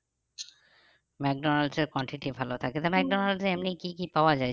McDonald's এর quantity ভালো থাকে তো মেকডনাল্ড্স এ এমনি কি কি পাওয়া যায়